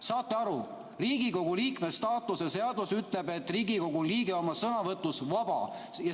Saate aru, Riigikogu liikme staatuse seadus ütleb, et Riigikogu liige oma sõnavõtus vaba!